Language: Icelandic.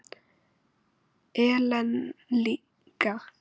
Ellen líka.